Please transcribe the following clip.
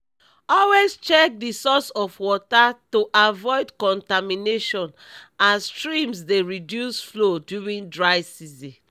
always check the source of water to avoid contamination as streams dey reduce flow during dry season